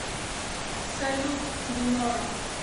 салют дуноро